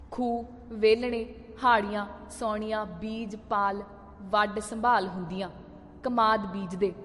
ਖੂਹ, ਵੇਲਣੇ, ਹਾੜ੍ਹੀਆਂ ਸੌਣੀਆਂ ਬੀਜ ਪਾਲ ਵੱਢ ਸੰਭਾਲ ਹੁੰਦੀਆਂ, ਕਮਾਦ ਬੀਜਦੇ।